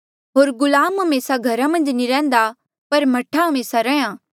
होर गुलाम हमेसा घरा मन्झ नी रैहन्दा पर मह्ठा हमेसा रैंहयां